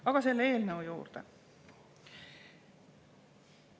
Aga selle eelnõu juurde.